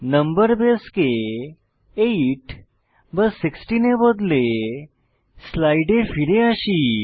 নম্বর বেসকে 8 বা 16 এ বদলে স্লাইডে ফিরে আসি